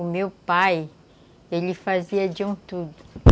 O meu pai, ele fazia de um tudo.